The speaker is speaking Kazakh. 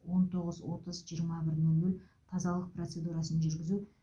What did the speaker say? он тоғыз отыз жиырма бір нөл нөл тазалық процедурасын жүргізу